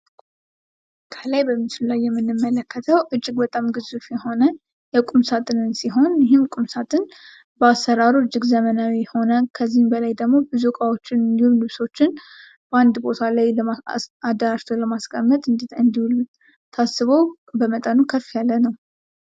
ከላይ በምስሉ ላይ የምንመለከተው በጣም ግዙፍ የሆነ የቁም ሳጥንን ሲሆን ይህም ቁምሳጥን በአሰራሩ እጅግ ዘመናዊ የሆነ ከዚህም በላይ ደግሞ ብዙ እቃዎችን እንዲሁም ልብሶችን በአንድ ቦታ ላይ አደራጅቶ ለማስቀመጥ እንዲውል ታስቦ በመጠኑ ከፍ ያለ ነው ።